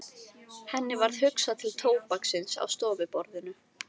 Henni varð hugsað til tóbaksins á stofuborðinu.